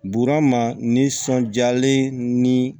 Buru ma nisɔndiyalen ni